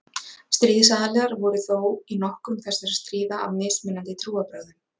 Stríðsaðilar voru þó í nokkrum þessara stríða af mismunandi trúarbrögðum.